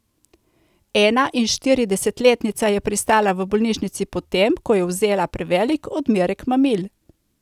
Enainštiridesetletnica je pristala v bolnišnici po tem, ko je vzela prevelik odmerek mamil.